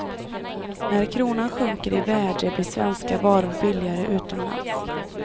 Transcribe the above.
När kronan sjunker i värde blir svenska varor billigare utomlands.